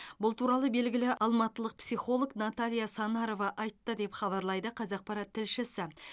бұл туралы белгілі алматылық психолог наталья санарова айтты деп хабарлайды қазақпарат тілшісі